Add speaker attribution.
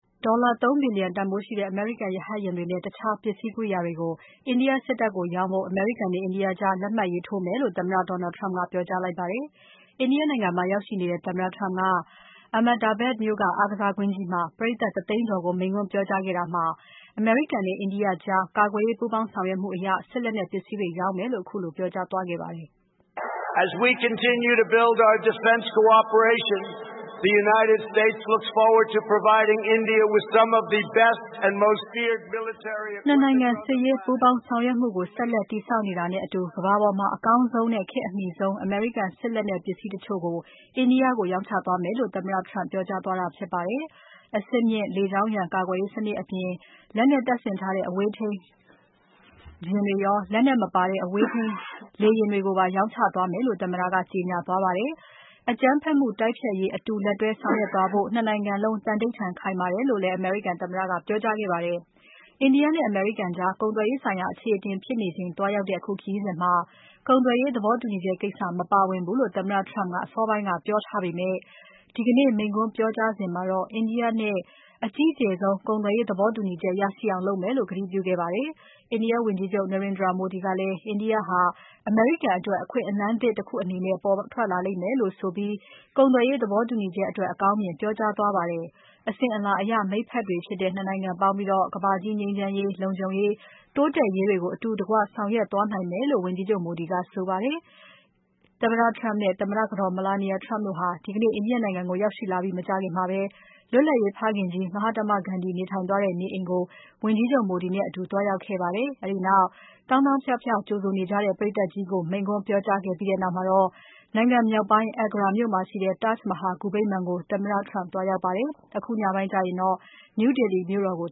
Speaker 1: ဒေါ်လာ ၃ ဘီလျံတန်ဖိုးရှိတဲ့ အမေရိကန်ရဟတ်ယာဉ်တွေနဲ့ တခြားပစ္စည်း ကိရိယာတွေကို အိန္ဒိယ စစ်တပ်ကို ရောင်းဖို့ အမေရိကန်နဲ့ အိန္ဒိယ နိုင်ငံကြား လက်မှတ်ရေးထိုးမယ်လို့ သမ္မတ Donald Trump ကပြောကြားခဲ့ပါတယ်။ India နိုင်ငံမှာ ရောက်ရှိနေတဲ့ သမ္မတ Donald Trump က Ahmedabad မြို့က အားကစားကွင်းကြီးမှာ ပရိတ်သတ် ၁ သိန်းကျော်ကို မိန့်ခွန်းပြောကြားခဲ့တာမှာ အမေရိကန်နဲ့ India ကြား ကာကွယ်ရေးပူးပေါင်းဆောင်ရွက်မှုအရ စစ်လက်နက်ပစ္စည်းတွေရောင်းမယ်လို့ ခုလိုပြောကြားသွားပါတယ်။ “၂ နိုင်ငံစစ်ရေးပူးပေါင်းဆောင်ရွက်မှုကို ဆက်လက်တည်ဆောက်နေတာနဲ့အတူ ကမ္ဘာပေါ်မှာ အကောင်းဆုံးနဲ့ ခေတ်အမှီဆုံး အမေရိကန် စစ်လက်နက်ပစ္စည်းတချို့ကို India ကိုရောင်းချသွားမယ်”လို့ သမ္မတ Trump ပြောကြားသွားတာဖြစ်ပါတယ်။ အဆင့်မြင့် လေကြောင်းရန် ကာကွယ်ရေးစနစ် အပြင်၊ လက်နက် တပ်ဆင်ထားတဲ့ အဝေးထိန်းလေယာဉ်တွေရော လက်နက်မပါတဲ့ အဝေးထိန်းလေယာဉ်တွေကိုပါ ရောင်းချသွားမယ်လို့ သမ္မတက ကြေညာသွားပါတယ်။ အကြမ်းဖက်မှု တိုက်ဖျက်ရေးအတူလက်တွဲဆောင်ရွက်သွားဖို့ ၂ နိုင်ငံလုံး သန္နိဋ္ဌာန်ခိုင်မာတယ်လို့လည်း အမေရိကန်သမ္မတက ပြောကြားခဲ့ပါတယ်။ အိန္ဒိယ နဲ့ အမေရိကန်ကြား ကုန်သွယ်ရေးဆိုင်ရာ အခြေအတင်ဖြစ်နေချိန်သွားရောက်တဲ့ အခုခရီးစဉ်မှာ ကုန်သွယ်ရေးသဘောတူညီချက်ကိစ္စ မပါဝင်ဘူးလို့ သမ္မတ Trump က အစောပိုင်းက ပြောထားပေမဲ့ ဒီကနေ့ မိန့်ခွန်းပြောကြားစဉ်မှာတော့ India နဲ့အကြီးကျယ်ဆုံး ကုန်သွယ်ရေးသဘောတူညီချက် ရရှိအောင် လုပ်သွားမယ်လို့ ကတိပြုခဲ့ပါတယ်။ India ဝန်ကြီးချုပ် Narendra Modi ကလည်း အိန္ဒိယ ဟာအမေရိကန်အတွက် အခွင့်အလမ်းသစ် တခုအနေနဲ့ ပေါ်ထွက်လာလိမ့်မယ်လို့ဆိုပြီး ကုန်သွယ်ရေးသဘောတူညီချက်အတွက် အကောင်းမြင်ပြောကြားသွားပါတယ်။ အစဉ်အလာအရ မိတ်ဖက်တွေဖြစ်တဲ့ ၂ နိုင်ငံပေါင်းပြီး ကမ္ဘာကြီး ငြိမ်းချမ်းရေး၊ လုံခြုံရေး၊ တိုးတက်ရေးတွေကို အတူတကွဆောင်ရွက်သွားနိုင်မယ်လို့ ဝန်ကြီးချုပ် Modia က ဆိုပါတယ်။ သမ္မတ Trump နဲ့သမ္မတကတော် Melania Trump တို့ ဒီကနေ့ အိန္ဒိယ နိုင်ငံကိုရောက်ရှိလာပြီး မကြာခင်မှာပဲ လွတ်လပ်ရေးဖခင်ကြီး Mahatma Gandhi နေထိုင်သွားတဲ့ နေအိမ်ကို ဝန်ကြီးချုပ် Modi နဲ့အတူ သွားရောက်ခဲ့ပါတယ်။ အဲဒီနောက် သောင်းသောင်းဖြဖြ ကြိုဆိုနေကြတဲ့ ပရိတ်သတ်ကြီးကို မိန့်ခွန်းပြောကြားခဲ့ပြီးနောက် နိုင်ငံမြောက်ပိုင်း Agra မြို့မှာရှိတဲ့ Taj Mahal ဂူဗိမ္မာန်ကို သမ္မတ Trump သွားရောက်ခဲ့ပါတယ်။ အခုညပိုင်းမှာတော့ New Delhi မြို့တော်ကို